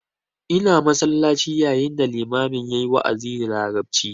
Ina masallaci yayin da limamin yayi wa'azi da larabci